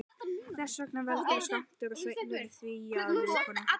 Þess vegna veldur of stór skammtur af svefntöflum því að viðkomandi kafnar.